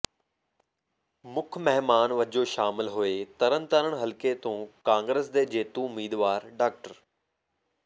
ਮੁੱਖ ਮਹਿਮਾਨ ਵੱਜੋਂ ਸ਼ਾਮਲ ਹੋਏ ਤਰਨਤਾਰਨ ਹਲਕੇ ਤੋਂ ਕਾਂਗਰਸ ਦੇ ਜੇਤੂ ਉਮੀਦਵਾਰ ਡਾ